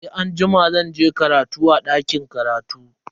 Sai anjima zan je karatu a dakin karatu.